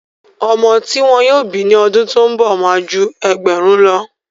ọmọ ti wọn yóò bí ní ọdún tó ń bọ̀ má a ju ẹgbẹ̀rún lọ.